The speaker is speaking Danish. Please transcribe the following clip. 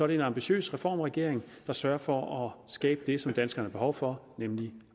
det en ambitiøs reformregering der sørger for at skabe det som danskerne har behov for nemlig